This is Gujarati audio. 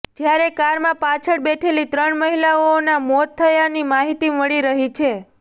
જ્યારે કારમાં પાછળ બેઠેલી ત્રણ મહિલાઓઓના મોત થયાની માહિતી મળી રહી છે